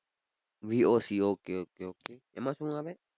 V O Cokay okay okay એમાં શું આવે?